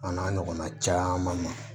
A n'a ɲɔgɔnna caman na